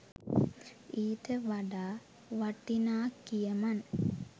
ඊට වඩා වටින කියමන්